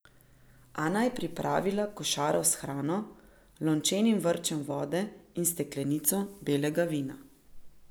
Ana je pripravila košaro s hrano, lončenim vrčem vode in steklenico belega vina.